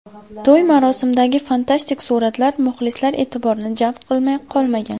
To‘y marosimidagi fantastik suratlar muxlislar e’tiborini jalb qilmay qolmagan.